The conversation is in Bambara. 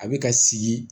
A bɛ ka sigi